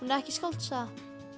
ekki skáldsaga